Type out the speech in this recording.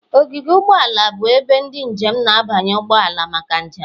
Ogige ụgbọ ala bụ ebe ndị njem na-abanye ụgbọ ala maka njem